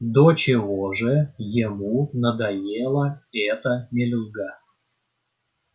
до чего же ему надоела эта мелюзга